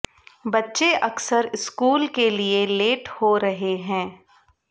बच्चे अकसर स्कूल के लिए लेट हो रहे हैं